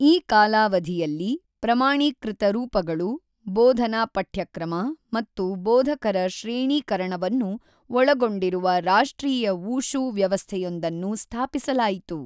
ಈ ಕಾಲಾವಧಿಯಲ್ಲಿ, ಪ್ರಮಾಣೀಕೃತ ರೂಪಗಳು, ಬೋಧನಾ ಪಠ್ಯಕ್ರಮ ಮತ್ತು ಬೋಧಕರ ಶ್ರೇಣೀಕರಣವನ್ನು ಒಳಗೊಂಡಿರುವ ರಾಷ್ಟ್ರೀಯ ವೂಶೂ ವ್ಯವಸ್ಥೆಯೊಂದನ್ನು ಸ್ಥಾಪಿಸಲಾಯಿತು.